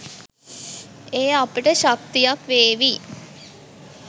එය අපිට ශක්තියක් වේවි